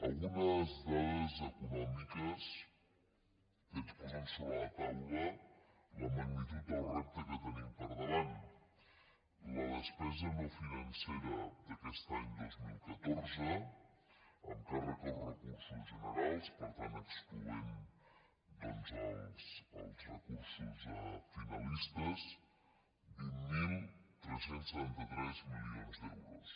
algunes dades econòmiques que ens posen sobre la taula la magnitud del repte que tenim per davant la despesa no financera d’aquest any dos mil catorze amb càrrec als recursos generals per tant excloent doncs els recursos finalistes vint mil tres cents i setanta tres milions d’euros